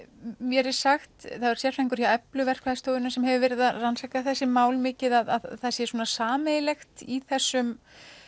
mér er sagt það var sérfræðingur á Eflu verkfræðistofunni sem hefur verið að rannsaka þessi mál mikið að það sé svona sameiginlegt í þessum